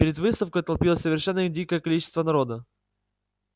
перед выставкой толпилось совершенно дикое количество народа